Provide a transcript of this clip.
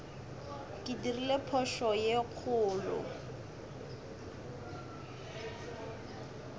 ke dirile phošo ye kgolo